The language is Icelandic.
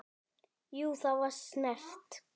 Jú, það var snert